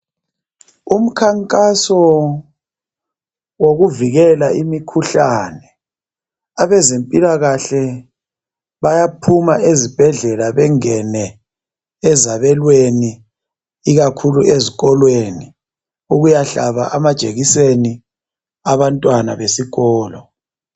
Umkhankaso wokuvikela imikhuhlane. Abezempila kahle bayaphuma ezibhedlela bengene ezabelweni, ikakhulu ezikolweni ukuyahlaba amajekiseni abantwana besikolo.